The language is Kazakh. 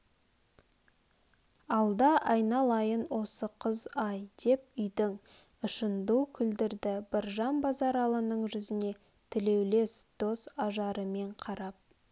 алда айналайын осы қыз-ай деп үйдің ішін ду күлдірді біржан базаралының жүзіне тілеулес дос ажарымен қарап